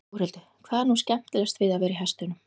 Þórhildur: Hvað er nú skemmtilegast við að vera í hestunum?